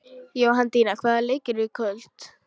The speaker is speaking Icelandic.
Jóhanndína, hvaða leikir eru í kvöld?